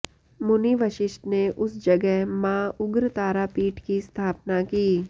मुनि वशिष्ठ ने उस जगह माँ उग्रतारा पीठ की स्थापना की